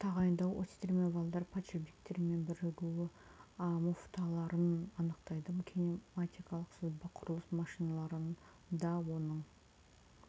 тағайындауы осьтер мен валдар подшипниктер мен бірігу муфталарын анықтайды кинематикалық сызба құрылыс машиналарында оның